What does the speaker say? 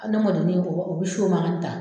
ni u bɛ so ma ta